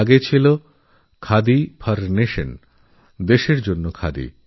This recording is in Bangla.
আগে খাদি খাদিফর নেশন ছিল